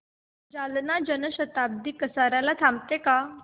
जालना जन शताब्दी कसार्याला थांबते का